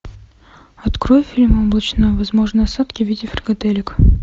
открой фильм облачно возможны осадки в виде фрикаделек